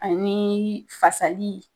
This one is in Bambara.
Anii fasali